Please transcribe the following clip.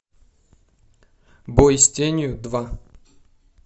бой с тенью два